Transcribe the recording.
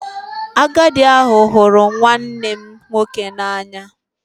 Agadi ahu huru nwannem nwoke n'anya